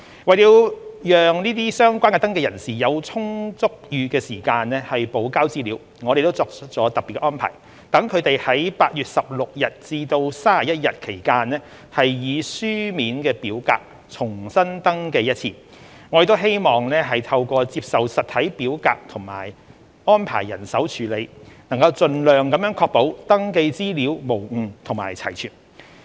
為了讓相關登記人有充裕時間補交資料，我們作出了特別安排，讓他們在8月16日至31日期間以書面表格重新登記一次，我們希望透過接受實體表格及安排人手處理，能盡量確保登記資料無誤及齊全。